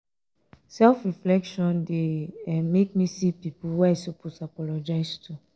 self-reflection um dey um make me see pipo wey i suppose apologize to.